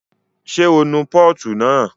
Ṣé o nu pọ́ọ̀tù náà?